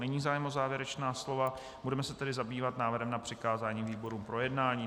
Není zájem o závěrečná slova, budeme se tedy zabývat návrhem na přikázání výborům k projednání.